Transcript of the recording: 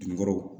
Dunkɔrɔw